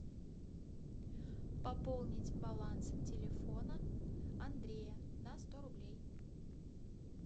пополнить баланс телефона андрея на сто рублей